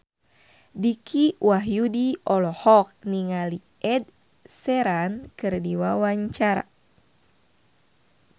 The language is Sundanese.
Dicky Wahyudi olohok ningali Ed Sheeran keur diwawancara